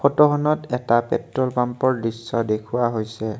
ফটোখনত এটা পেট্ৰল পাম্পৰ দৃশ্য দেখুওৱা হৈছে।